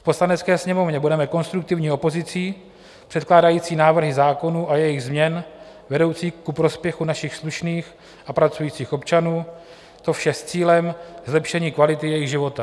V Poslanecké sněmovně budeme konstruktivní opozicí předkládající návrhy zákonů a jejich změn vedoucích ku prospěchu našich slušných a pracujících občanů, to vše s cílem zlepšení kvality jejich života.